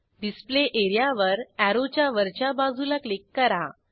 display एरियावर अॅरोच्या वरच्या बाजूला क्लिक करा